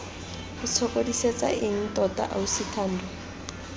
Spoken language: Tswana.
itshokodisetsa eng tota ausi thando